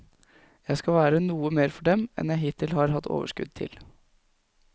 Jeg skal være noe mer for dem enn jeg hittil har hatt overskudd til.